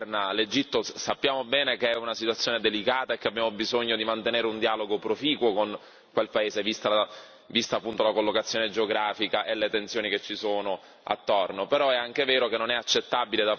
Al Sisi governa l'Egitto, sappiamo bene che è una situazione delicata e che abbiamo bisogno di mantenere un dialogo proficuo con quel paese vista appunto la collocazione geografica e le tensioni che ci sono attorno.